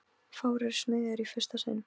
Fáir eru smiðir í fyrsta sinn.